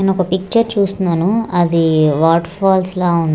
నేనొక పిక్చర్ చూస్తున్నాను అది వాటర్ ఫాల్స్ లా ఉన్--